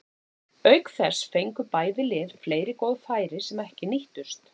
Auk þess fengu bæði lið fleiri góð færi sem ekki nýttust.